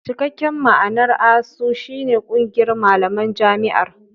Cikakken ma'anar "ASUU" shi ne "Ƙungiyar Malaman Jami'ar".